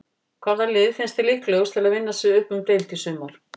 Hvaða lið finnst þér líklegust til að vinna sig upp um deild í sumar?